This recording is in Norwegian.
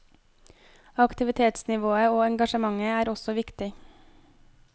Aktivitetsnivået og engasjementet er også viktig.